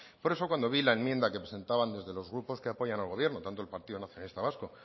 por eso cuando vi la enmienda que presentaban desde los grupos que apoyan al gobierno tanto el partido nacionalista vasco